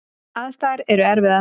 Aðstæður eru erfiðar.